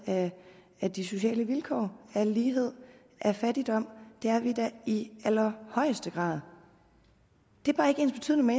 af de sociale vilkår af lighed af fattigdom det er vi da i allerhøjeste grad det er bare ikke ensbetydende med